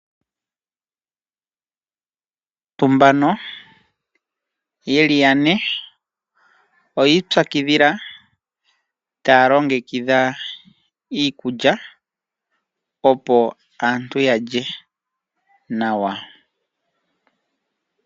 Aantu mbano yeli yane oyi pyakidhila taya longekidha iikulya opo aantu ya lye nawa.